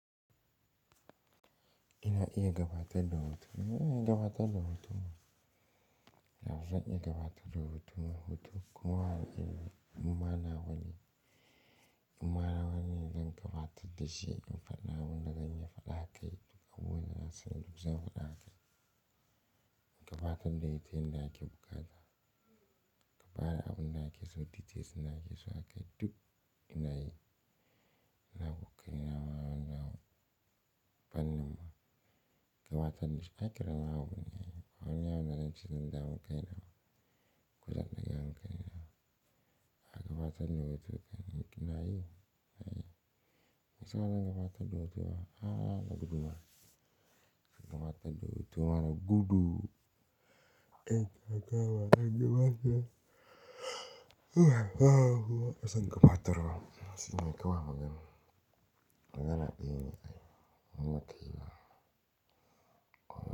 Ina iya gabatar da hotuna, ina iya gabatar da hotuna. Yanzu zan iya gabatar da hotunan hutu kuma ina iya, kuma na wane, kuma na wane zan gabatar da shi? In faɗi abunda zan iyay faɗa akai abubuwan dazan sanar zan faɗa a kai. In gabatar da ita inda ake bukata? Gabara abin na yake, so titin suna yake so a kai duk ina yi. Ina kuka, ina ma'ana, banin ba. Gabatar da shi a kira mahauji ne. Wannan yawon da zan ji nan da awon kai na. Ku za ku iya yin kai na. A gabatar da hotunan ina yi. Ina yi. Musulman gabatar da hotuna, a, da gudu ma. Gabatar da hotoma da gudu. Eh, haka ba zan iya ba. Haka zan gabatar ma. Haka ne kawai maganar. Magana akai ne kawai. Wannan akai ba.